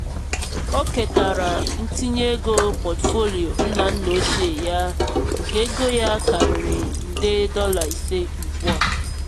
o ketara ntinye ego pọtụfoliyo nna nna ochie ya nke ego ya karịrị nde dọla ise ugbu a.